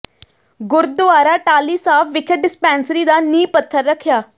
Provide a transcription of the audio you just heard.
ਗੁਰਦੁਆਰਾ ਟਾਹਲੀ ਸਾਹਿਬ ਵਿਖੇ ਡਿਸਪੈਂਸਰੀ ਦਾ ਨੀਂਹ ਪੱਥਰ ਰੱਖਿਆ